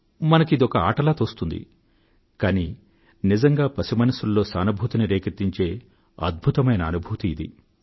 మనకి ఇదొక ఆటలా తోస్తుంది కానీ నిజంగా పసి మనసుల్లో సానుభూతిని రేకెత్తించే అద్భుతమైన అనుభూతి ఇది